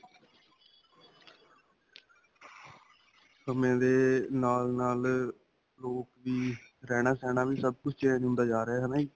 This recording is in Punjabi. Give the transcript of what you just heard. ਸਮੇ ਦੇ ਨਾਲ-ਨਾਲ ਅਅ ਲੋਕ ਵੀ ਰਹਿਣਾ-ਸਹਿਣਾ ਵੀ ਸਭ ਕੁੱਝ change ਹੁੰਦਾ ਜਾ ਰਿਆ. ਹੈ ਨਾਂ ਜੀ?